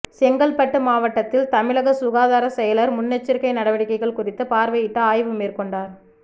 செங்கல்பட்டு மாவட்டத்தில் தமிழக சுகாதார செயலா் முன்னெச்சரிக்கை நடவடிக்கைகள் குறித்து பாா்வையிட்டு ஆய்வு மேற்கொண்டாா்